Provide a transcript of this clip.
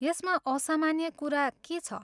यसमा असामान्य कुरा के छ?